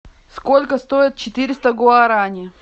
сколько стоит четыреста гуарани